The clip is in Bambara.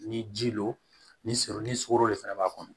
Ni ji lo ni sɔro ni sogoro de fɛnɛ b'a kɔnɔ